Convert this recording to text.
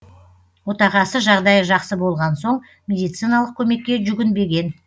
отағасы жағдайы жақсы болған соң медициналық көмекке жүгінбеген